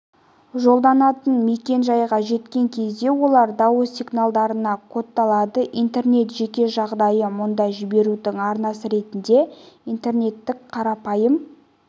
жолданатын мекен-жайға жеткен кезде олар дауыс сигналдарына кодталады интернет жеке жағдайы мұнда жіберудің арнасы ретінде интернеттің қарапайым